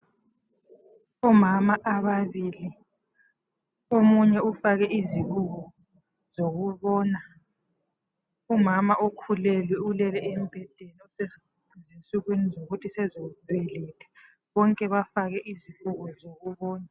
Omama ababili omunye ufake izibuko zokubona. Umama ukhulelwe ulele embhedeni osezinsukwini zokuthi sezabeletha bonke bafake izibuko zokubona.